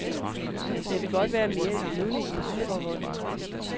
Jeg vil godt være mere levende i parforholdet.